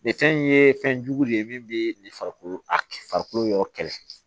Nin fɛn in ye fɛn jugu de ye min bɛ farikolo yɔrɔ kɛlɛ